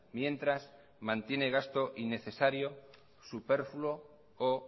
mientras mantiene gasto innecesario superfluo o